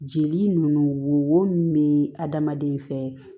Jeli nunnu wo mun be adamaden fɛ